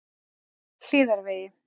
Hlíðavegi